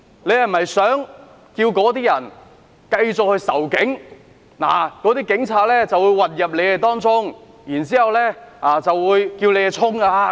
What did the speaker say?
他是否想鼓動那些人繼續仇警，告訴他們警察會混入他們當中，煽動他們向前衝。